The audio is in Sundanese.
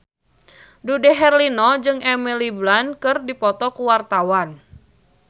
Dude Herlino jeung Emily Blunt keur dipoto ku wartawan